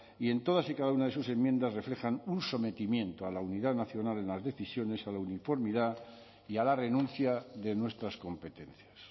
y en todas y cada una de sus enmiendas reflejan un sometimiento a la unidad nacional en las decisiones a la uniformidad y a la renuncia de nuestras competencias